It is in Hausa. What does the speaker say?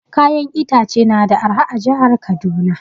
Kayan itace na da arha a jihar Kaduna